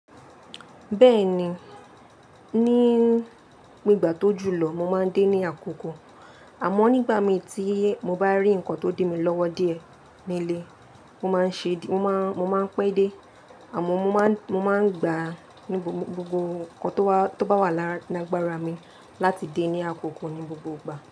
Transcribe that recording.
Bẹ́ẹ̀ni, ní ìgbà tó jù lọ mo máa ń dé ní àkókò, àmọ́ nígbà mí tí mo bá rí nǹkan tó di mí lọ́wọ́ díẹ̀ nílé, mo máa ń ṣe, mo máa ń pẹ́ dé àmọ́ mo máa ń gba gbogbo ohun kan tó bá wà lágbára mi láti dé ní àkókò ní gbogbo ìgbà.